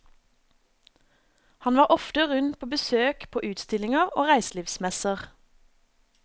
Han var ofte rundt på besøk på utstillinger og reiselivsmesser.